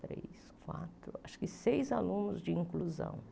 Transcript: três, quatro, acho que seis alunos de inclusão.